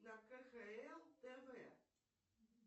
на кхл тв